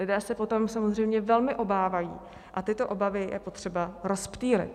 Lidé se potom samozřejmě velmi obávají a tyto obavy je potřeba rozptýlit.